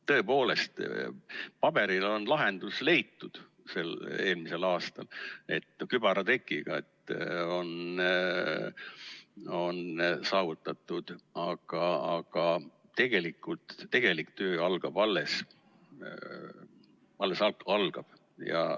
Tõepoolest, paberil on lahendus leitud eelmisel aastal, kübaratrikiga on see saavutatud, aga tegelik töö alles algab.